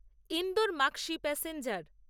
Indore Maksi passenger